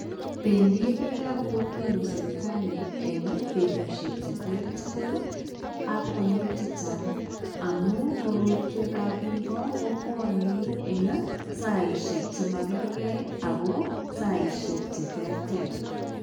Pendi biikab kokwenyuun sipitai eng betusiek che terter ak konyil chechang amun korotwekab biiko kobwani eng saishek chema karkei ako saishek che terter.